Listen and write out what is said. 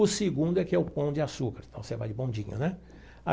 O segundo é que é o Pão de Açúcar, então você vai de bondinho, né?